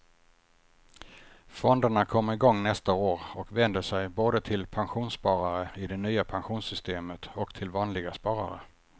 Fonderna kommer igång nästa år och vänder sig både till pensionssparare i det nya pensionssystemet och till vanliga sparare.